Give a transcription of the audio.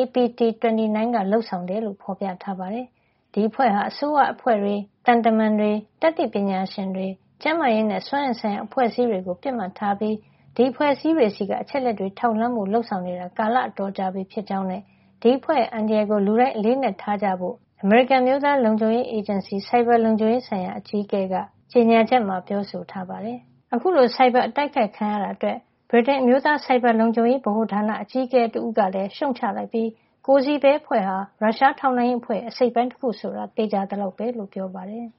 APT29 ကလုပ်ဆောင်တာ ဖြစ်ကြောင်း ဖေါ်ပြထားပါတယ်။ APT29 အဖွဲ့ဟာ အစိုးရအဖွဲ့တွေ၊ သံတမန်တွေ၊ တတ်သိပညာရှင်အဖွဲ့တွေ၊ ကျန်းမာရေးနဲ့ စွမ်းအင်ဆိုင်ရာ အဖွဲ့အစည်းတွေ ကို ပစ်မှတ်ထားပြီး ဒီအဖွဲ့အစည်းတွေဆီက အချက်အလက်တွေ ထောက်လှမ်းဖို့ လုပ်ဆောင်နေတာ ကာလ အတော်ကြာပြီဖြစ်ကြောင်းနဲ့ ဒီအဖွဲ့ရဲ့ အန္တရာယ်ကို လူတိုင်း အလေးအနက်ထားကြဖို့လည်း အမေရိကန် အမျိုးသားလုံခြုံရေးအေဂျင်စီ NSA က ဆိုင်ဘာလုံခြုံရေး ဆိုင်ရာ အကြီးအကဲ Anne Neuberger က ကြေညာချက်မှာ ပြောဆိုထားပါတယ်။ အခုလို ဆိုင်ဘာအတိုက်ခိုက်ခံရတာအတွက် ဗြိတိန် အမျိုးသားဆိုင်ဘာ လုံခြံရေးဗဟိုဌာန အကြီးအကဲ တဦးဖြစ်တဲ့ Paul Chichester ကလည်း ရှုံ့ချလိုက်ပြီး Cozy Bear အဖွဲ့ဟာ ရုရှားထောက်လှမ်းရေးအဖွဲ့ရဲ့ အစိတ်အပိုင်း တခုဆိုတာ သေချာသလောက်ပဲ လို့ပြောပါတယ်။